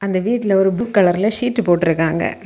அந்த வீட்ல ஒரு புக் கலர்ல ஷீட்டு போட்ருக்காங்க.